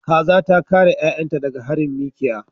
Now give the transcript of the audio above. Kaza ta kare 'ya'yanta daga harin mikiya.